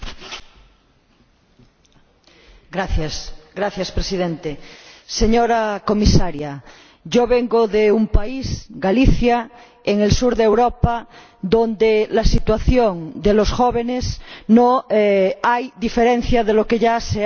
Señor Presidente, señora Comisaria, yo vengo de un país, Galicia, en el sur de Europa, donde la situación de los jóvenes no difiere de lo que ya se ha dicho aquí durante este debate.